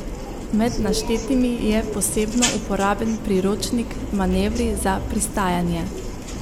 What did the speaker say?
Med naštetimi je posebno uporaben priročnik Manevri za pristajanje.